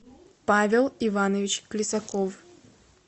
павел иванович лисаков